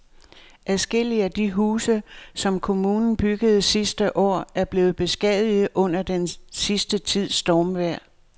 Adskillige af de huse, som kommunen byggede sidste år, er blevet beskadiget under den sidste tids stormvejr.